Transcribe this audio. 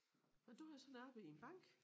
Og du havde så arbejdet i en bank?